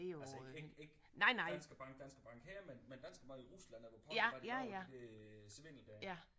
Altså ikke ikke ikke Danske Bank Danske Bank her men Danske Bank i Rusland er jo påvirket af alt der der svindel der